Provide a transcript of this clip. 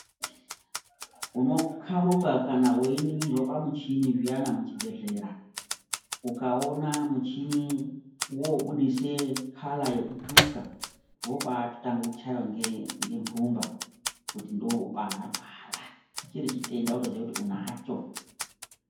Unokaruka kana weyiningirwe pamuchini zviana pachibhedhlera. Ukawona muchini wobudise colour yokutsvuka wobatangakutshayiwa ngemvumba kutindoparwara ,chirichitenda wotoziya kuti unacho.